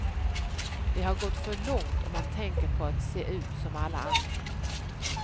Det har gått för långt om man tänker på att se ut som alla andra.